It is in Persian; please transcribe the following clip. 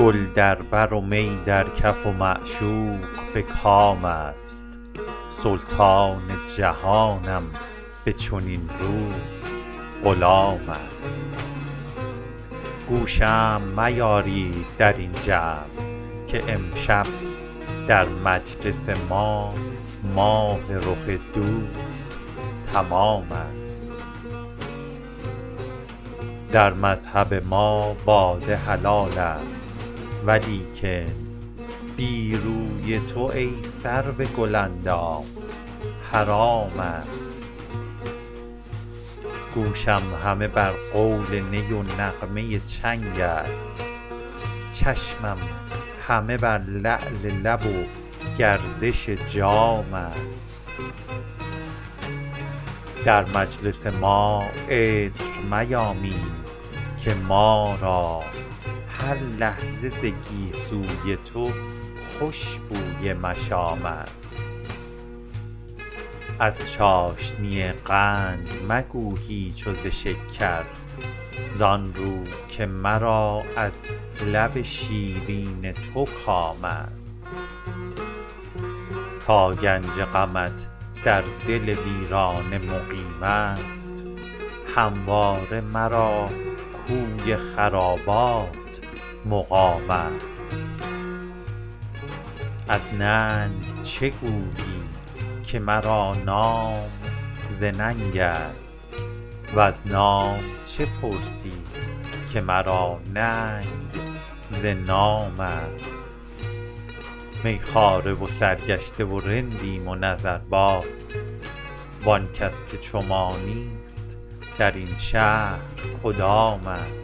گل در بر و می در کف و معشوق به کام است سلطان جهانم به چنین روز غلام است گو شمع میارید در این جمع که امشب در مجلس ما ماه رخ دوست تمام است در مذهب ما باده حلال است ولیکن بی روی تو ای سرو گل اندام حرام است گوشم همه بر قول نی و نغمه چنگ است چشمم همه بر لعل لب و گردش جام است در مجلس ما عطر میامیز که ما را هر لحظه ز گیسو ی تو خوش بوی مشام است از چاشنی قند مگو هیچ و ز شکر زآن رو که مرا از لب شیرین تو کام است تا گنج غمت در دل ویرانه مقیم است همواره مرا کوی خرابات مقام است از ننگ چه گویی که مرا نام ز ننگ است وز نام چه پرسی که مرا ننگ ز نام است می خواره و سرگشته و رندیم و نظرباز وآن کس که چو ما نیست در این شهر کدام است